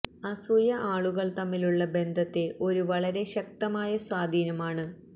അസൂയ ആളുകൾ തമ്മിലുള്ള ബന്ധത്തെ ഒരു വളരെ ശക്തമായ സ്വാധീനം ആണ്